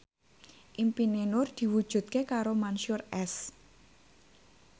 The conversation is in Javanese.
impine Nur diwujudke karo Mansyur S